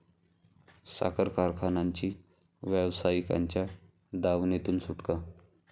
साखर कारखानांची व्यावसायिकांच्या दावणीतून सुटका